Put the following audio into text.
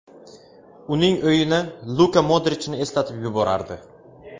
Uning o‘yini Luka Modrichni eslatib yuborardi.